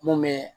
Mun bɛ